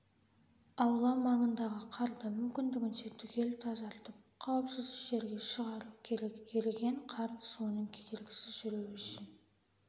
аула маңындағы қарды мүмкіндігінше түгел тазартып қауіпсіз шерге шығару керек еріген қар суының кедергісіз жүруі үшін